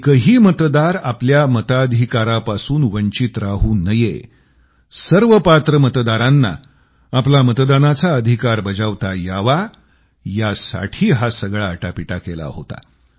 एकही मतदार आपल्या मताधिकारापासून वंचित राहू नये सर्व पात्र मतदारांना आपला मतदानाचा अधिकार बजावता यावा यासाठी हा सगळा आटापिटा केला होता